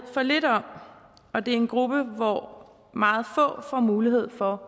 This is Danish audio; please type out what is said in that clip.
for lidt om og det er en gruppe hvor meget få får mulighed for